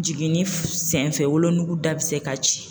Jiginni senfɛ wolonugu da bɛ se ka ci